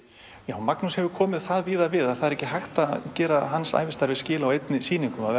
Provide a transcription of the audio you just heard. Magnús hefur komið það víða við að það er ekki hægt að gera hans ævistarfi skil á einni sýningu það